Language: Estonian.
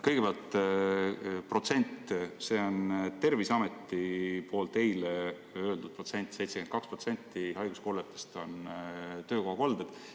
Kõigepealt protsent, see on Terviseameti eile öeldud protsent: 72% haiguskolletest on töökohakolded.